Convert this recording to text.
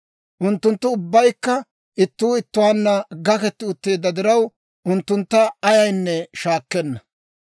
Unttunttu ubbaykka ittuu ittuwaanna gakketti utteedda diraw, unttuntta ayaynne shaakkenna.